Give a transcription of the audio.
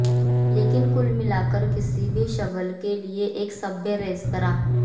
लेकिन कुल मिलाकर किसी भी शगल के लिए एक सभ्य रेस्तरां